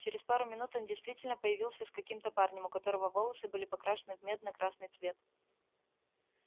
через пару минут он действительно появился с каким-то парнем у которого волосы были покрашены в медно-красный цвет